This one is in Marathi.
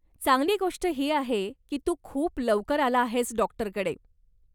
चांगली गोष्ट ही आहे की तू खूप लवकर आला आहेस डॉक्टरकडे.